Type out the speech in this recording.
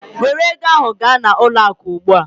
Were ego ahụ gaa n'ụlọ akụ ugbu a!